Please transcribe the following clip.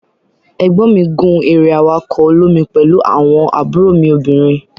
egbon mi gun ere awako olomi pelu awon mi obinrin.